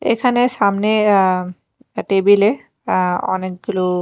এখানে সামনে অ্যা টেবিল -এ অ্যা অনেকগুলো--